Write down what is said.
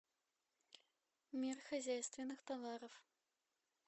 мир хозяйственных товаров